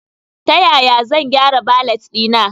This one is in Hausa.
Ta yaya zan gyara valet ɗina?